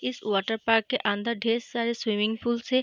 इस water park के अंदर ढ़ेर सारे स्विमिंग पूल्स हैं।